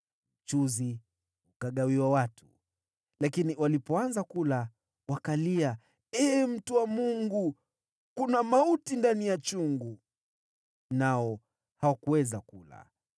Mchuzi ukagawiwa watu, lakini walipoanza kula, wakalia, “Ee mtu wa Mungu, kuna mauti ndani ya chungu.” Nao hawakuweza kula.